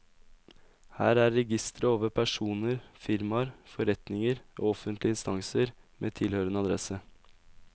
Her er registre over personer, firmaer, foreninger og offentlige instanser med tilhørende adresse.